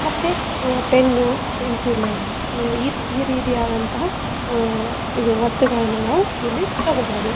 ಮತ್ತೆ ಅಹ್ pen pencil ‌ ಅಹ್ ಈ ರೀತಿಯಾದಂತಹ ಅಹ್ ಇದು ವಸ್ತುಗಳನ್ನ ನಾವು ಇಲ್ಲಿ ತಗೋಬಹುದು.